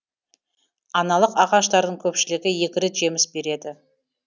аналық ағаштардың көпшілігі екі рет жеміс береді